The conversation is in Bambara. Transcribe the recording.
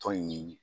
Tɔn in